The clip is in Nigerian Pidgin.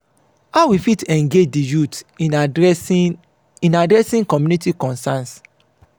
how we fit engage di youth in adressing in adressing community concerns?